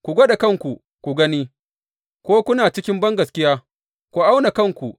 Ku gwada kanku ku gani ko kuna cikin bangaskiya; ku auna kanku.